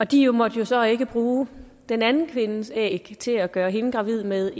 de måtte jo så ikke bruge den anden kvindes æg til at gøre hende gravid med